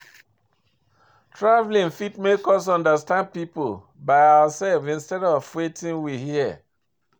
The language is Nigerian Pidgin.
Travelling fit make us understand pipo by ourself instead of wetin we hear